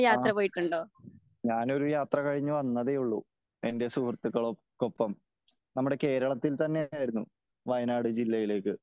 ആ ഞാനൊരു യാത്ര കഴിഞ്ഞ് വന്നതെ ഉള്ളു . എന്റെ സുഹൃത്തുക്കൾക്കൊപ്പം. നമ്മുടെ കേരളത്തിൽ തന്നെ ആയിരുന്നു . വയനാട് ജില്ലയിലേക്ക്